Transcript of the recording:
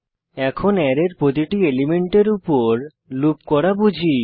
এখন অ্যারের প্রতিটি এলিমেন্টের উপর লুপ করা বুঝি